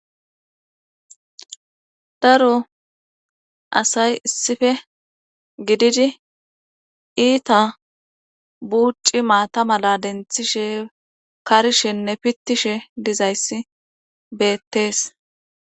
Daro asay issife gididi iita buucci maata mala denthishe karishenne pittishe dizayssi beetees.